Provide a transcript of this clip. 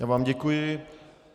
Já vám děkuji.